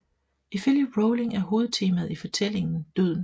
Ifølge Rowling er hovedtemaet i fortælling døden